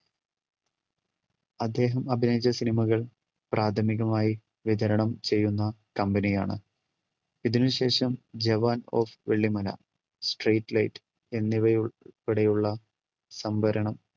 അദ്ദേഹം അഭിനയിച്ച cinema കൾ പ്രാഥമികമായി വിതരണം ചെയ്യുന്ന company യാണ്. ഇതിനുശേഷം Jawan of Vellimala, street light എന്നിവ ഉൾപ്പെടെയുള്ള സംഭരണം